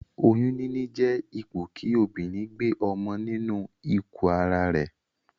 Oyún níní jé ipò kí obìrin gbe ọmọ nínu ikù ara rè